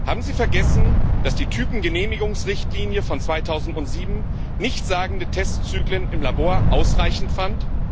Haben Sie vergessen, dass die Typgenehmigungsrichtlinie von 2007 nichtssagende Testzyklen im Labor ausreichend fand?